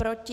Proti?